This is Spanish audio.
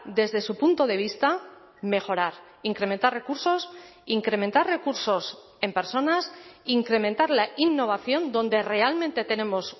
desde su punto de vista mejorar incrementar recursos incrementar recursos en personas incrementar la innovación donde realmente tenemos